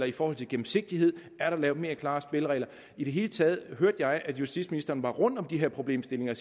i forhold til gennemsigtigheden er lavet mere klare spilleregler i det hele taget hørte jeg at justitsministeren var rundt om de her problemstillinger